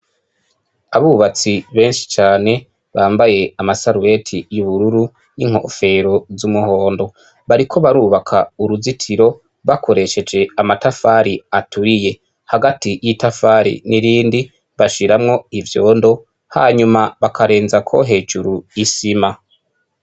Abubatsi benshi cane bambaye amasaruweti y'ubururu n'inkofero z'umuhondo bariko barubaka uruzitiro bakoresheje amatafari aturiye hagati y'itafari n'irindi bashiramwo ivyondo hanyuma bakarenzako hejuru isima.